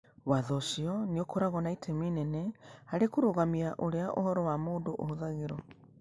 Watho ũcio nĩ ũkoragwo na itemi inene harĩ kũrũgamia ũrĩa ũhoro wa mũndũ ũhũthagĩrũo.